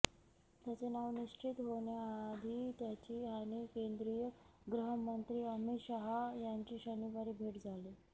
त्याचे नाव निश्चित होण्याआधी त्याची आणि केंद्रीय गृहमंत्री अमित शहा यांची शनिवारी भेट झाली